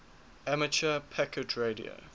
amateur packet radio